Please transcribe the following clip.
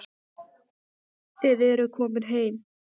Þið eruð komin heim.